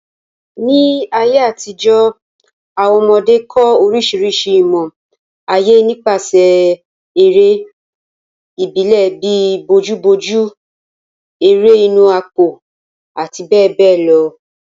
Ní àtijọ́, àwọn ọmọdé kọ́ orísìírísìí ìmọ̀ ayé nípasẹ̀ eré ìbílẹ̀ bíi bojúbojú, ẹrẹ́ inù àpò àti bẹ́ẹ̀ bẹ́ẹ̀ lọ.